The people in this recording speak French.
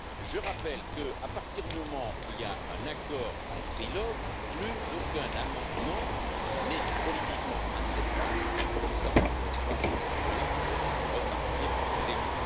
Je rappelle qu'à partir du moment où il y a un accord en trilogue, plus aucun amendement n'est politiquement acceptable sans qu'il faille repartir de zéro.